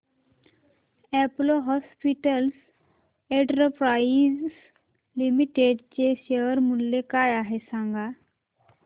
Apollo hospitals enterprise limited चे share मूल्य काय आहे सांगा